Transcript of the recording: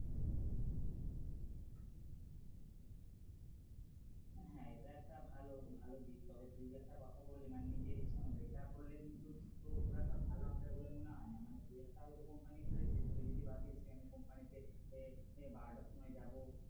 হ্যাঁ এটা একটা ভালো ভালো দিক তবে তুই যে একটা কথা বলি মানে নিজের ইচ্ছা মতো এটা করলে কিন্তু খুব একটা ভালো হবে বলে মনে হয় না, মানে তুই একটা হয়তো company খুলেছিস তুই যদি ভাবিস যে আমি company তে বারোটার সময় যাব,